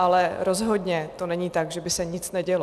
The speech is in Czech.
Ale rozhodně to není tak, že by se nic nedělo.